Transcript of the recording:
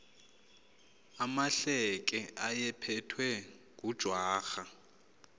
amahleke ayephethwe ngujwarha